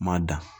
Ma da